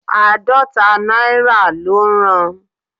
Àádọ́ta náírà ló ń ran